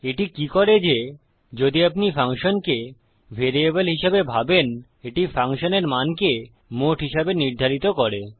এটি কি করে যে যদি আপনি ফাংশনকে ভ্যারিয়েবল হিসাবে ভাবেন এটি ফাংশনের মানকে মোট হিসাবে নির্ধারিত করে